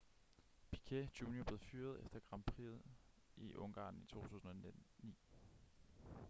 piquet jr blev fyret efter grand prixet i ungarn i 2009